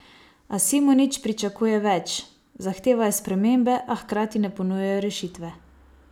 A Simonič pričakuje več: "Zahtevajo spremembe, a hkrati ne ponujajo rešitve.